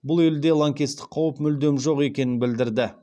бұл елде лаңкестік қаупі мүлдем жоқ екенін білдірді